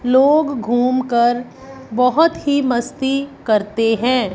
लोग घूम कर बहोत ही मस्ती करते हैं।